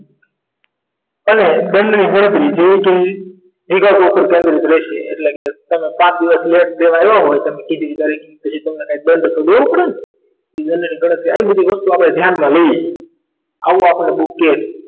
અને દંડ ની ગણતરી જેવી કે એના ઉપર કેન્દ્રિત રહેશે એટલે કે પાંચ દિવસ leat દેવા આવ્યો હોય તમે કીધી હતી એ તારીખ પછી તમારે કંઈક દંડ તો દેવો પડે ને એ બંનેની ગણતરી આવી બધી વસ્તુઓ આપણે ધ્યાનમાં લઈએ આવો આપણને book કહે છે